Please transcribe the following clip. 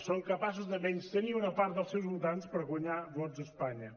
són capaços de menystenir una part dels seus votants per guanyar vots a espanya